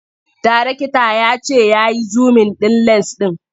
Darekta ya ce ya yi zumin ɗin lens ɗin.